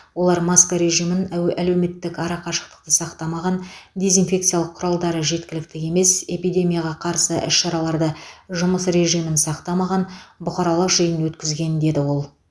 олар маска режимін әуе әлеуметтік арақашықтықты сақтамаған дезинфекциялық құралдары жеткілікті емес эпидемияға қарсы іс шараларды жұмыс режимін сақтамаған бұқаралық жиын өткізген деді ол